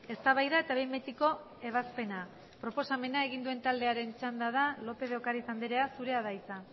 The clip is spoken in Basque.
eztabaida eta behin betiko ebazpena proposamena egin duen taldearen txanda da lópez de ocariz andrea zurea da hitza